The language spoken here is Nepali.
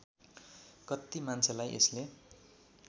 कत्ति मान्छेलाई यसले